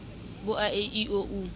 bo a e i o